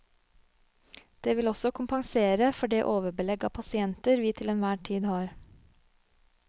Det vil også kompensere for det overbelegg av pasienter vi til enhver tid har.